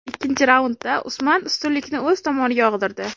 Ikkinchi raundda Usman ustunlikni o‘z tomoniga og‘dirdi.